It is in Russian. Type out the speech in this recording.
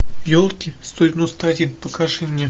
елки сто девяносто один покажи мне